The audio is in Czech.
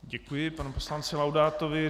Děkuji panu poslanci Laudátovi.